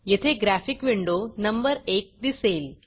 येथे graphic window number 1 दिसेल